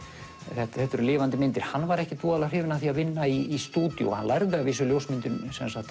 þetta eru lifandi myndir hann var ekkert voðalega hrifinn af því að vinna í stúdíói hann lærði að vísu ljósmyndun